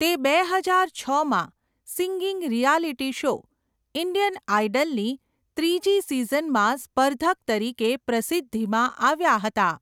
તે બે હજાર છમાં સિંગિંગ રિયાલિટી શો 'ઇન્ડિયન આઇડલ'ની ત્રીજી સિઝનમાં સ્પર્ધક તરીકે પ્રસિદ્ધિમાં આવ્યા હતા.